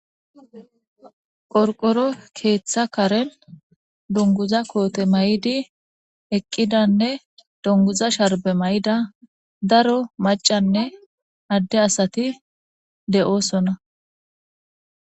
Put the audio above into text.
Qorqoro keeththa karen dunguza koote may'di eqqidanne dunguza sharbe may'ida daro macanne adde asati de'oosona